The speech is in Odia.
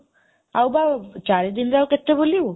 ଆଉ ଚାରି ଦିନରେ ଆଉ କେତେ ବୁଲିବୁ?